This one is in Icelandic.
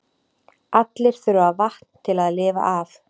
Allir þurfa vatn til að lifa af.